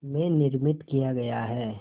में निर्मित किया गया है